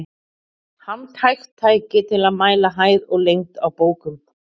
Handhægt tæki til að mæla hæð og lengd á bókum.